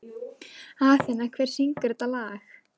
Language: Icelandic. Athena, hver syngur þetta lag?